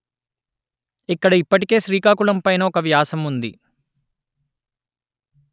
ఇక్కడ ఇప్పటికే శ్రీకాకుళం పైన ఒక వ్యాసం ఉంది